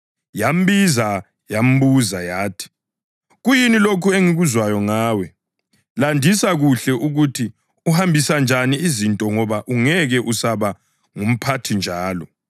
Yambiza yambuza yathi, ‘Kuyini lokhu engikuzwayo ngawe? Landisa kuhle ukuthi uhambisa njani izinto ngoba ungeke usaba ngumphathi njalo.’